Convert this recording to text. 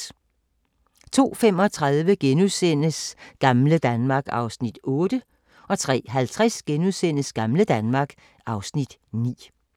02:35: Gamle Danmark (Afs. 8)* 03:50: Gamle Danmark (Afs. 9)*